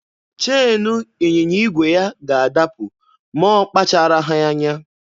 Cheenu ịnyịnya igwe ya ga-adapụ ma ọ kpacharaghị anya.